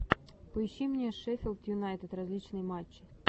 поищи мне шеффилд юнайтед различные матчи